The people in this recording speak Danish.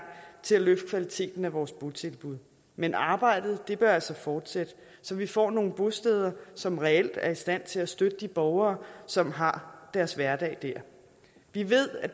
til at løfte kvaliteten af vores botilbud men arbejdet bør altså fortsætte så vi får nogle bosteder som reelt er i stand til at støtte de borgere som har deres hverdag der vi ved at